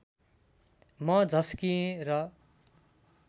म झस्किएँ र